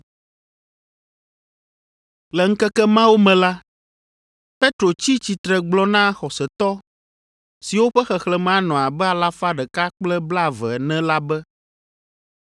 Le ŋkeke mawo me la, Petro tsi tsitre gblɔ na xɔsetɔ (siwo ƒe xexlẽme anɔ abe alafa ɖeka kple blaeve) ene la be,